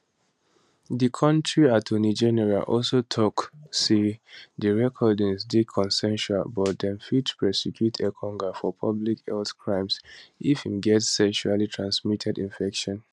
di kontri attorney general also tok say di recordings dey consensual but dem fit prosecute engonga for public health crimes if im get sexuallytransmitted infection